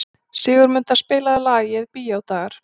Sigurmunda, spilaðu lagið „Bíódagar“.